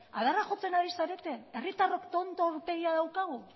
adarra jotzen ari zarete herritarrok tonto aurpegia daukagu